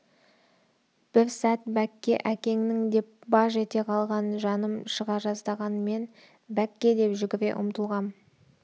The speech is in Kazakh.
бір сәт бәкке әкеңнің деп баж ете қалған жаным шыға жаздаған мен бәк-ке деп жүгіре ұмтылғам